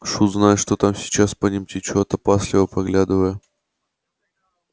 шут знает что там сейчас по ним течёт опасливо поглядывая